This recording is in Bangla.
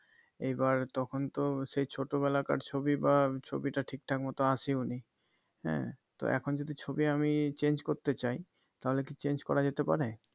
এইবার তখন তো সেই ছোট বেলাকার ছবি বা ছবিটা ঠিকঠাক মত আসেওনি হ্যাঁ তো এখন যদি ছবি আমি change করতে চাই তাহলে কি change করা যেতে পারে?